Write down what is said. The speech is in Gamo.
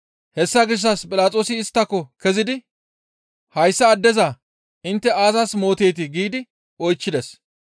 Hessa gishshas Philaxoosi isttako kezidi, «Hayssa addeza intte aazas mooteetii?» giidi oychchides.